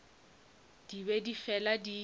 di be di fela di